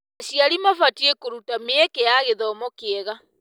Aciari mabatiĩ kũruta mĩeke ya gĩthomo kĩega.